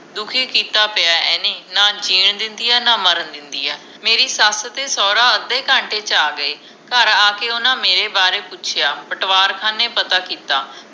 ਦੁਖੀ ਕੀਤਾ ਪਿਆ ਇਹਨੇ ਨਾ ਜੀਣ ਦਿੰਦੀ ਏ ਨਾ ਮਰਨ ਦਿੰਦੀ ਏ ਮੇਰੀ ਸੱਸ ਤੇ ਸੋਹਰਾ ਅੱਧੇ ਘੰਟੇ ਚ ਆਗਏ ਘਰ ਆਕੇ ਓਹਨਾ ਮੇਰੇ ਬਾਰੇ ਪੁੱਛਿਆ ਪਟਵਾਰ ਖਾਣੇ ਪਤਾ ਕੀਤਾ